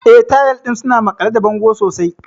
Eh, tayal ɗin suna maƙale da bango sosai.